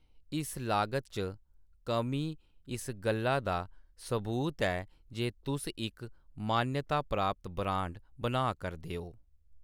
इस लागत च कमी इस गल्लै दा सबूत ऐ जे तुस इक मान्यता प्राप्त ब्रांड बनाऽ करदे ओ।